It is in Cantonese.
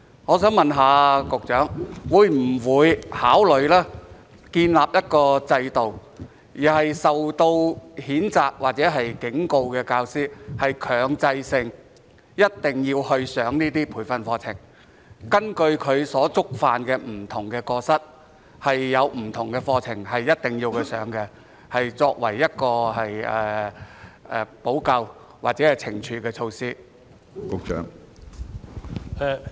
我想問局長會否考慮建立一個制度，對於受到譴責或警告的教師，要強制他們參加這些培訓課程，根據他們的不同過失，必須參加不同的相關課程，以作為補救或懲處的措施？